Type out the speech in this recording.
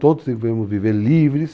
Todos devemos viver livres.